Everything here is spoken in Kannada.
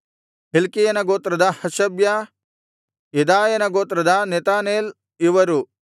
ಹಿಲ್ಕೀಯನ ಗೋತ್ರದ ಹಷಬ್ಯ ಯೆದಾಯನ ಗೋತ್ರದ ನೆತನೇಲ್ ಇವರು